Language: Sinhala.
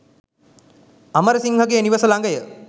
අමරසිංහ ගේ නිවස ළඟය.